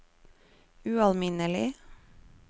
ualminnelig